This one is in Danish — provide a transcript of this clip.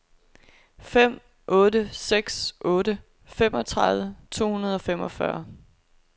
fem otte seks otte femogtredive to hundrede og femogfyrre